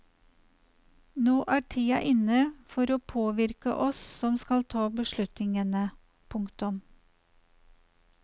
Nå er tida inne for å påvirke oss som skal ta beslutningene. punktum